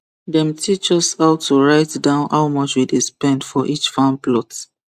dem teach us how to write down how much we dey spend for each farm plot